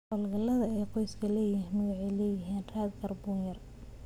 Hawlgallada ay qoysku leeyihiin waxay leeyihiin raad kaarboon yar.